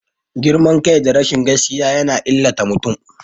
Girman kai da rashin gaskiya yana illata mutum.